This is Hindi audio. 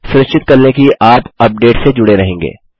सुनिश्चित कर लें कि आप अपडेट से जुड़े रहेंगे